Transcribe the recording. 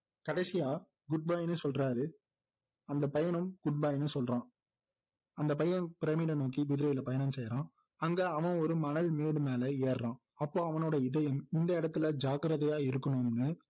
கடைசியா good bye னு சொல்றாரு அந்த பையனும் good bye னு சொல்றான் அந்த பையன் பிரமிடை நோக்கி குதிரையில பயணம் செய்றான் அங்க அவன் ஒரு மணல்மேடு மேல ஏர்றான் அப்போ அவனோட இதயம் இந்த இடத்துல ஜாக்கிரதையா இருக்கணும்னு